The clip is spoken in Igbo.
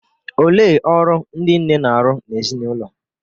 Olee ọrụ ndị nne na-arụ n’ezinụlọ?